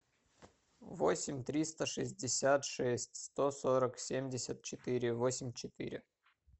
восемь триста шестьдесят шесть сто сорок семьдесят четыре восемь четыре